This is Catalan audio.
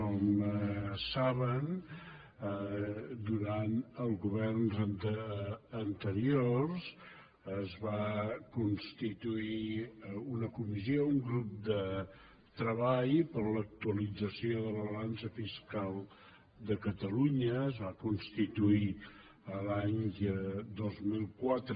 com saben durant els governs anteriors es va constituir una comissió un grup de treball per a l’actualització de la balança fiscal de catalunya es va constituir l’any dos mil quatre